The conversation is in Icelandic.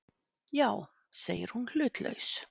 Já, segir hún hlutlaus.